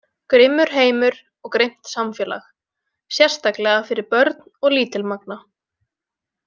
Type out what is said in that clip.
Grimmur heimur og grimmt samfélag, sérstaklega fyrir börn og lítilmagna.